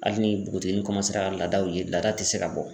Hali ni bogotiginin ka laadaw ye laada ti se ka bɔ.